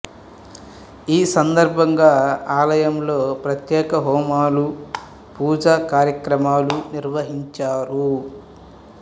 ఈ సందర్భంగా ఆలయంలో ప్రత్యేక హోమాలు పూజా కార్యక్రమాలు నిర్వహించారు